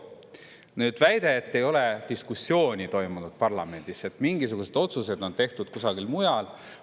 Nüüd väide, et ei ole diskussiooni toimunud parlamendis, et mingisugused otsused on tehtud kusagil mujal.